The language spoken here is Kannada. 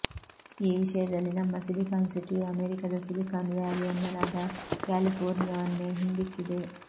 ಈ ವಿಷಯದಲ್ಲಿ ನಮ್ಮ ಸಿಲಿಕಾನ್ ಸಿಟಿಯು ಅಮೆರಿಕದ ಸಿಲಿಕಾನ್ ವ್ಯಾಲಿ ಎನ್ನಲಾದ ಕ್ಯಾಲಿಫೋರ್ನಿಯಾವನ್ನೇ ಹಿಂದಿಕ್ಕಿದೆ